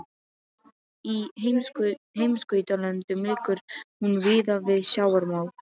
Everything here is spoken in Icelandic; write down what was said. Í heimskautalöndum liggur hún víða við sjávarmál.